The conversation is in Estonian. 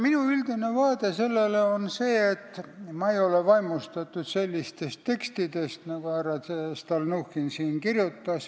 Minu üldine vaade on selline, et ma ei ole vaimustatud sellistest tekstidest, nagu härra Stalnuhhin on kirjutanud.